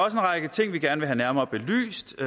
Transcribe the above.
række ting vi gerne vil have nærmere belyst